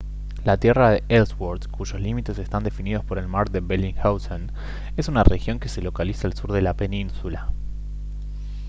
la tierra de ellsworth cuyos límites están definidos por el mar de bellingshausen es una región que se localiza al sur de la península